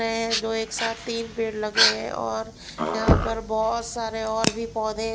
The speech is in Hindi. है जो एक साथ तीन पेड़ लगे है और यहां पर बहोत सारे और भी पौधे--